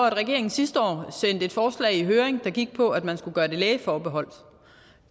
at regeringen sidste år sendte et forslag i høring der gik på at man skulle gøre det lægeforbeholdt